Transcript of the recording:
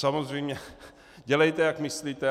Samozřejmě dělejte, jak myslíte.